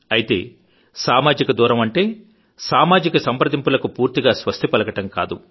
అయితేసామాజిక దూరం అంటే సామాజిక సంప్రదింపులకు పూర్తిగా స్వస్తి పలకడం కాదు